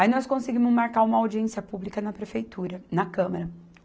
Aí nós conseguimos marcar uma audiência pública na Prefeitura, na Câmara.